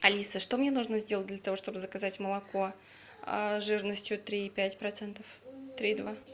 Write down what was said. алиса что мне нужно сделать для того чтобы заказать молоко жирностью три и пять процентов три и два